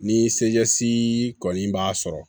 Ni se kɔni b'a sɔrɔ